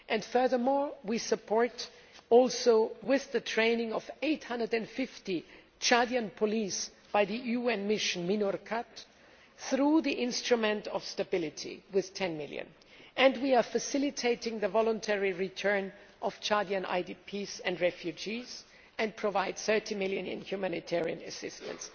Furthermore, we are supporting the training of 850 Chadian police by the UN mission MINURCAT through the Instrument for Stability with EUR 10 million. We are also facilitating the voluntary return of Chadian IDPs and refugees and providing EUR 30 million in humanitarian assistance.